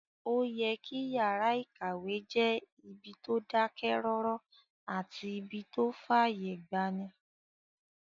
Ó yẹ kí yàrá-ìkàwé jẹ́ ibi tó dákẹ́ rọ́rọ́ àti ibí tó fàyè gbani